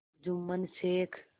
Jumman Sheikh